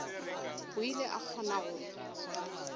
o ile a kgona go